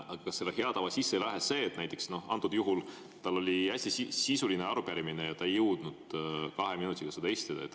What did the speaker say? Aga kas selle hea tava sisse ei läheks see, et näiteks antud juhul tal oli hästi sisuline arupärimine ja ta ei jõudnud kahe minutiga seda esitada.